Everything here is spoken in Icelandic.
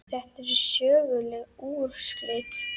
Þetta eru söguleg úrslit.